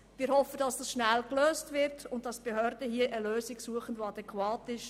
Wir hoffen, dass das schnell gelöst wird und dass die Behörden hier eine Lösung suchen, die adäquat ist.